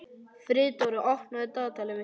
Friðdóra, opnaðu dagatalið mitt.